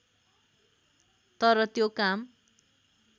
तर त्यो काम